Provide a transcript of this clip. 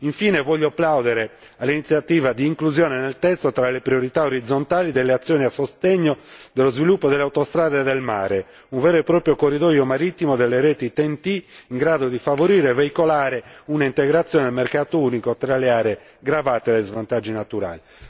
Infine, voglio plaudere all'iniziativa di inclusione nel testo, tra le priorità orizzontali, delle azioni a sostegno dello sviluppo delle autostrade del mare, un vero e proprio corridoio marittimo delle reti TEN T, in grado di favorire e veicolare un'integrazione nel mercato unico delle aree gravate da svantaggi naturali.